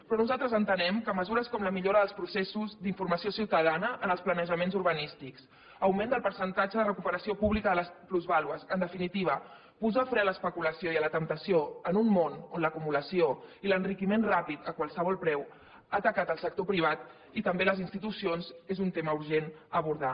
però nosaltres entenem que mesures com la millora dels processos d’informació ciutadana en els planejaments urbanístics augment del percentatge de recuperació pública de les plusvàlues en definitiva posar fre a l’especulació i a la temptació en un món on l’acumulació i l’enriquiment ràpid a qualsevol preu han tacat el sector privat i també les institucions és un tema urgent a abordar